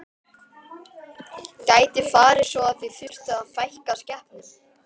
Gæti farið svo að þið þyrftuð að fækka skepnum?